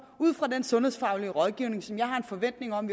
ud fra den sundhedsfaglige rådgivning som jeg har en forventning om